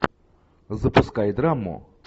запускай драму